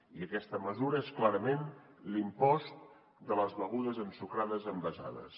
i aquesta mesura és clarament l’impost de les begudes ensucrades envasades